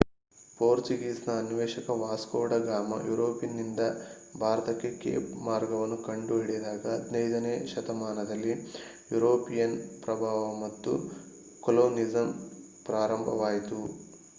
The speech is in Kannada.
ಪೋರ್ಚುಗೀಸ್ ನ ಅನ್ವೇಷಕ ವಾಸ್ಕೊ ಡ ಗಾಮಾ ಯುರೋಪಿನಿಂದ ಭಾರತಕ್ಕೆ ಕೇಪ್ ಮಾರ್ಗವನ್ನು ಕಂಡುಹಿಡಿದಾಗ 15ನೇ ಶತಮಾನದಲ್ಲಿ ಯುರೋಪಿಯನ್ ಪ್ರಭಾವ ಮತ್ತು ಕೊಲೊನಿಸಂ ಪ್ರಾರಂಭವಾಯಿತು